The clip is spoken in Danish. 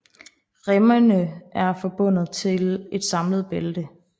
Remmene er forbundet til et samlet bælte